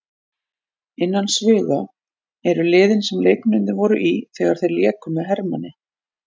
Innan sviga eru liðin sem leikmennirnir voru í þegar þeir léku með Hermanni.